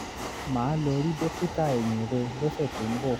màá lọ rí dókítà eyín rẹ̀ lọ́sẹ̀ tó ń bọ̀